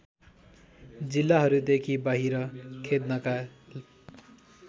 जिल्लाहरूदेखि बाहिर खेद्नका